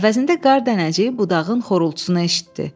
Əvəzində qar dənəciyi budağın xorultusunu eşitdi.